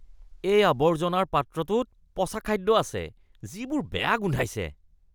এই আৱৰ্জনাৰ পাত্ৰটোত পচা খাদ্য আছে যিবোৰ বেয়া গোন্ধাইছে।